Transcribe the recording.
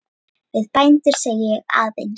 Við bændur segi ég aðeins.